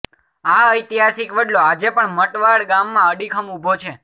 આ ઐતિહાસિક વડલો આજે પણ મટવાડ ગામમાં અડીખમ ઊભો છે